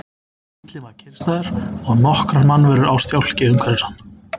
Bíllinn var kyrrstæður og nokkrar mannverur á stjákli umhverfis hann.